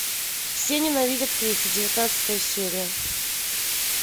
все ненавидят криса девятнадцатая серия